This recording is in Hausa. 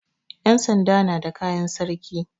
Yansanda na da kayan sarki.